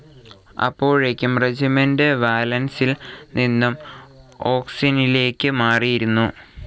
അപ്പോഴേക്കും റെജിമെന്റ്‌ വാലൻസിൽ നിന്നു ഒക്‌സോനിലേക്ക് മാറിയിരുന്നു.